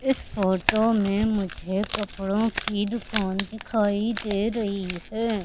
इस फोटो में मुझे कपड़ों की दुकान दिखाई दे रही है।